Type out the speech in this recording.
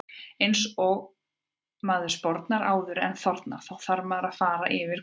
Eins ef maður sporar áður en þornar, þá þarf að fara aftur yfir gólfið.